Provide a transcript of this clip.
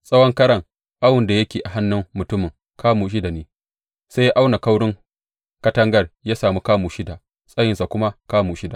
Tsawon karan awon da yake a hannun mutumin kamu shida ne, sai ya auna kaurin katangar ya sami kamu shida, tsayinta kuma kamu shida.